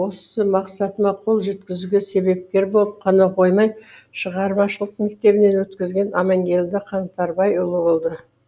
осы мақсатыма қолжеткізуге себепкер болып қана қоймай шығармашылық мектебінен өткізген аманкелді қаңтарбайұлы болды